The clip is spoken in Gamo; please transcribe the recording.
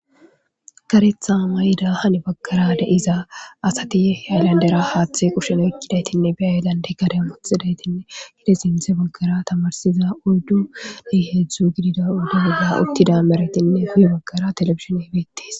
Karetha mayid hen bagara diza asat hathe haylandera kushe oykidaytinne gaden be haylande wothidayt sinthe bagara tamirsiza oydu woy hezdu gidida oyde bolla utida maretinne guye bagara televisioney betes.